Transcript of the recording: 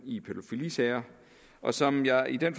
i pædofilisager og som jeg i den